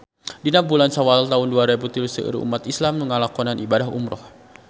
Dina bulan Sawal taun dua rebu tilu seueur umat islam nu ngalakonan ibadah umrah